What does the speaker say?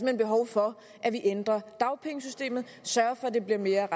hen behov for at vi ændrer dagpengesystemet sørger for at det bliver mere